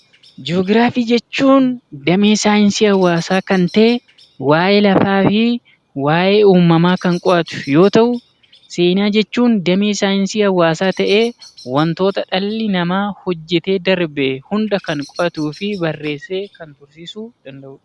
Ji'oogiraafii jechuun damee saayinsii hawaasaa kan ta'e, waa'ee lafaa fi waa'ee uumamaa kan qo'atu yoo ta'u, seenaa jechuun damee saayinsii hawaasaa ta'ee waantota dhalli namaa hojjetee darbe hunda kan qo'atuu fi barreessee kan tursiisuu danda'udha.